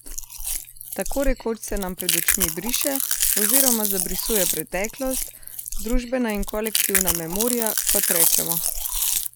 Tako rekoč se nam pred očmi briše, oziroma zabrisuje preteklost, družbena in kolektivna memoria, kot rečemo.